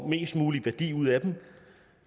mest mulig værdi ud af dem